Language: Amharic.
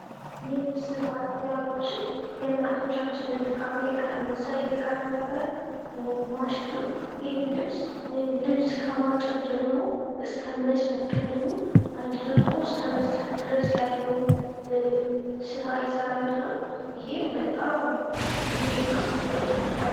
የልብስ ማጠቢያ ማሽን የእናቶቻችንን ድካም እየቀነሰ የቀረፈ ማሽን ነው። ይህም ልብስ ከማጠብ ጀምሮ እስከ መጭመቅ እንዲሁም አድርቆ እስከመስጠት ድረስ ያለውን ስራ ይሰራልናል። ይህም በጣም ጊዜ እና ወጪ ቆጣቢ ነው።